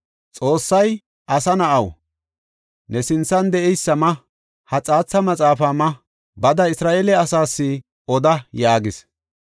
Xoossay, “Asa na7aw, ne sinthan de7eysa ma; ha xaatha maxaafa ma; bada, Isra7eele asaas oda” yaagis.